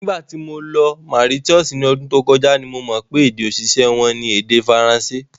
Nígbà tí mo lọ Mauritius ní ọdún tó kọjá ni mo mọ̀ pé èdè-òṣìṣẹ́ wọn ni èdè Faransé.